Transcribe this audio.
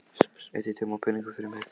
Eyddi tíma og peningum fyrir mig.